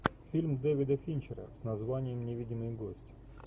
фильм дэвида финчера с названием невидимый гость